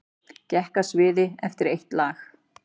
Gekk af sviði eftir eitt lag